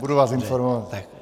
Budu vás informovat.